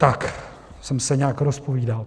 Tak jsem se nějak rozpovídal.